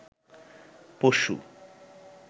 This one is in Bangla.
পশু